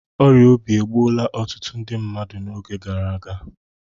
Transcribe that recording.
Ọrịa obi egbuola ọtụtụ ndị mmadụ n'oge gara aga